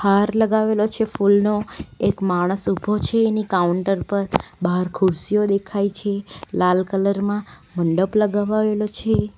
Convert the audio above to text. હાર લગાવેલો છે ફુલનો એક માણસ ઊભો છે એની કાઉન્ટર પર બાર ખુરસીઓ દેખાય છે લાલ કલર માં મંડપ લગાવાવેલો છે.